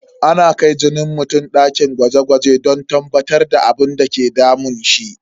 Ana kai jinin mutum dakin gwaje gwaje don tabbatar da abinda ke damun shi.